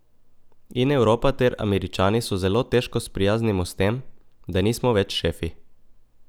In Evropa ter Američani se zelo težko sprijaznimo s tem, da nismo več šefi.